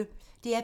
DR P1